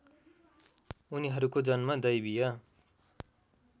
उनीहरूको जन्म दैवीय